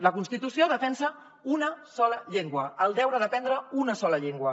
la constitució defensa una sola llengua el deure d’aprendre una sola llengua